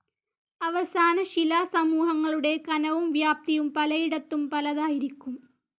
അവസാനശിലാസമൂഹങ്ങളുടെ കനവും വ്യാപ്തിയും പലയിടത്തും പലതായിരിക്കും.